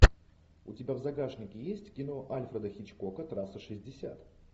у тебя в загашнике есть кино альфреда хичкока трасса шестьдесят